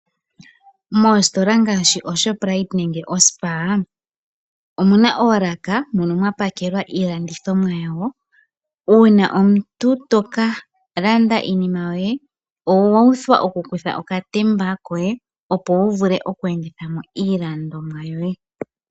Mostola ngaashi oShoprite nenge o Spar omuna oolaka mono mwa paakwa iilandithomwa yawo. Uuna omuntu toka landa iinima yoye owa uthwa oku kuthamo oka temba koye opo wu vule oku endithamo iilandonmwa yoye.